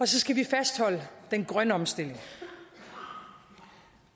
skal vi fastholde den grønne omstilling